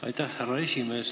Aitäh, härra esimees!